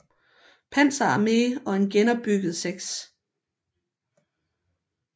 Panzer Arme og en genopbygget 6